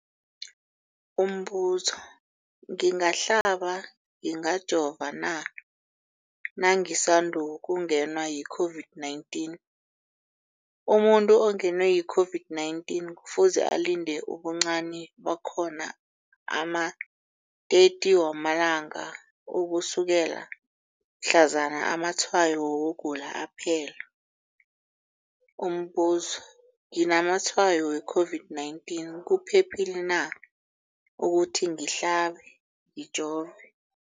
Umbuzo, ngingahlaba, ngingajova na nangisandu kungenwa yi-COVID-19? Umuntu ongenwe yi-COVID-19 kufuze alinde ubuncani bakhona ama-30 wama langa ukusukela mhlazana amatshayo wokugula aphela. Umbuzo, nginamatshayo we-COVID-19, kuphephile na ukuthi ngihlabe, ngijove?